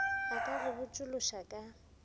a ka go botšološoša ka